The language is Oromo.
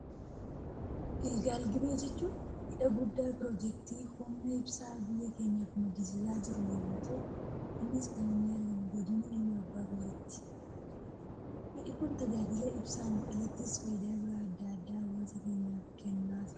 Gilgal gibee jechuun, hidha guddaa piroojektii humna ibsaa biyya keenyaaf maddisiisaa jiru yemmuu ta'u, innis kan inni argamu godina Iluu abbaa booraatti. Hidhi Kun tajaajila ibsaan alattis fayidaa biraa addaa addaa hawaasa keenyaaf kennaa jira.